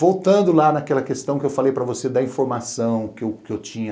Voltando lá naquela questão que eu falei para você da informação que eu tinha